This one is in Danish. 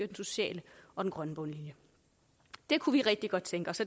den sociale og den grønne bundlinje det kunne vi rigtig godt tænke os